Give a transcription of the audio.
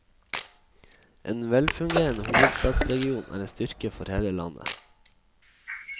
En velfungerende hovedstadsregion er en styrke for hele landet.